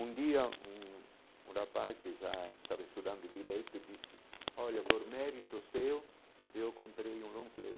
Um dia, um um rapaz que já estava estudando direito, disse, olha, por mérito seu, eu comprei um long play.